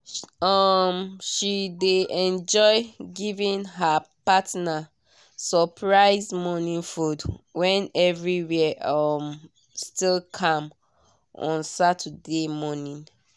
um she dey enjoy giving her partner surprise morning food when everywhere um still calm on saturday morning.